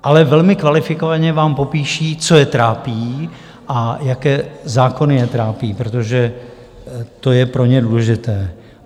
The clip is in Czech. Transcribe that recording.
Ale velmi kvalifikovaně vám popíší, co je trápí a jaké zákony je trápí, protože to je pro ně důležité.